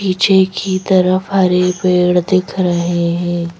पीछे की तरफ हरे पेड़ दिख रहे हैं।